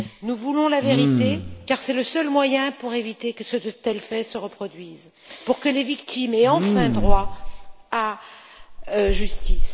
Nous voulons la vérité, car c'est le seul moyen pour éviter que de tels faits se reproduisent, pour que les victimes aient enfin droit à la justice.